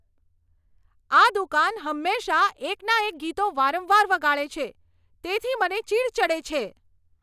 આ દુકાન હંમેશાં એકના એક ગીતો વારંવાર વગાડે છે, તેથી મને ચીડ ચડે છે.